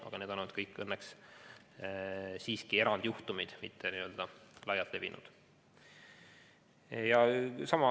Aga need kõik on olnud õnneks siiski erandjuhtumid, mitte n-ö laialt levinud.